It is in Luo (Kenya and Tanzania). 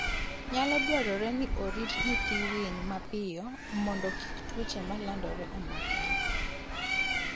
Nyalo dwarore ni orit nyithi winy mapiyo mondo kik tuoche malandore omakgi.